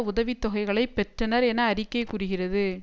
உதவித்தொகைகளை பெற்றனர் என அறிக்கை குறுகிறது